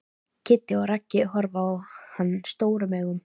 Kiddi og Raggi horfa á hann stórum augum.